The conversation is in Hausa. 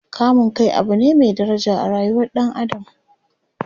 kamun Kai Abu ne Mai daraja a rayuwar ɗan adam